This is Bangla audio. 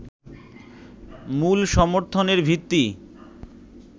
মূল সমর্থনের ভিত্তি